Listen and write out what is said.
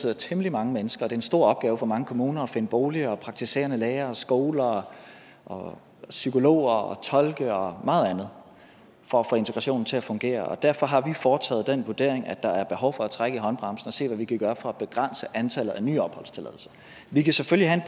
er temmelig mange mennesker er en stor opgave for mange kommuner at finde boliger og praktiserende læger og skoler og psykologer og tolke og meget andet for at få integrationen til at fungere derfor har vi foretaget den vurdering at der er behov for at trække i håndbremsen og se hvad vi kan gøre for at begrænse antallet af nye opholdstilladelser vi kan selvfølgelig have